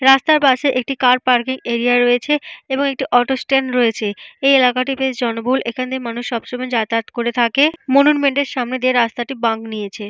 রাস্তার পাশে একটি কার পার্কিং এরিয়া রয়েছে এবং একটি অটো স্ট্যান্ড রয়েছে। এই এলাকাটি বেশ জনবহুল। এখানে সবসময় মানুষ যাতায়াত করে থাকে। মনুমেন্ট এর সামনে দিয়ে রাস্তাটি বাঁক নিয়েছে।